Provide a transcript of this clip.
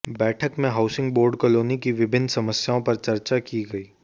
बैठक में housing board colony की विभिन्न समस्याओं पर चर्चा की गई